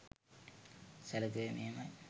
සැළකුවේ මෙහෙමයි.